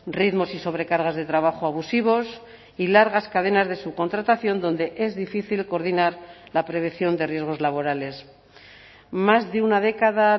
ritmos y sobrecargas de trabajo abusivos y largas cadenas de subcontratación donde es difícil coordinar la prevención de riesgos laborales más de una década